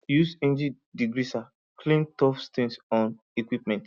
use engine degreaser clean tough stains on equipment